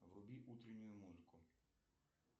вруби утреннюю музыку